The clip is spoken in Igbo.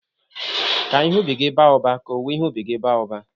"Ka ihe ubi gị ba ụba, ka owuwe ihe ubi gị ba uba"